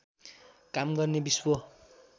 काम गर्ने विश्व